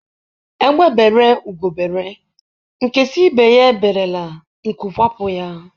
Egbe bere ugo bere, nke sị ibe ya eberela, nku kwapụ ya.